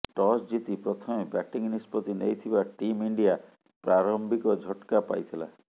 toss ଜିତି ପ୍ରଥମେ batting ନିଷ୍ପତ୍ତି ନେଇଥିବା ଟିମ୍ ଇଣ୍ଡିଆ ପ୍ରାରମ୍ଭିବ ଝଟ୍କା ପାଇଥିଲା